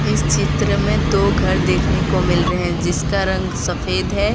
इस चित्र में दो घर देखने को मिल रहे हैं जिसका रंग सफेद है।